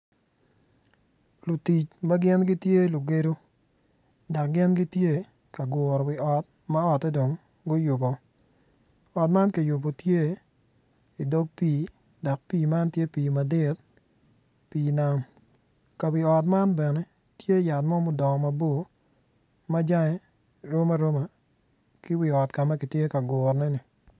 Lutic ma gin gitye lugedo dak gin gitye ka guru wi ot ma otte dong guyuboo ot man kiyubu tye i dog pii dok pii man tye pii madit pii nam ka wi ot man bene tye yat mo mudongo mabor ma jange rom aroma ki wi ot ka ma kitye ka guruneni